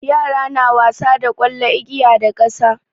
Yara na wasa da ƙwallo, igiya da ƙasa.